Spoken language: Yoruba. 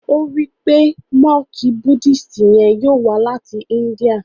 o ní wípé Monk Buddhist yén yóò wá láti India.